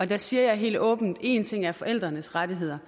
der siger jeg helt åbent at én ting er forældrenes rettigheder